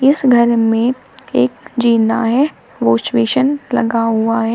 इस घर में एक जीना है वाश बेसिन लगा हुआ है।